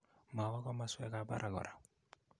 Mawa komaswekap parak kora